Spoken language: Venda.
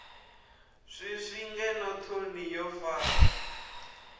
swiswi ngeno thoni wo fara